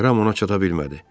Ram ona çata bilmədi.